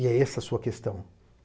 E é essa a sua questão.